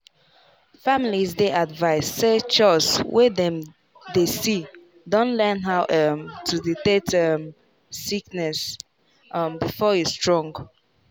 families dey advised say chws wey dem dey see don learn how um to detect um sickness um before e strong.